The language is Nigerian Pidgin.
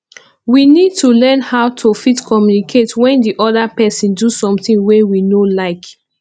we need to learn how to fit communicate when di oda person do something wey we no like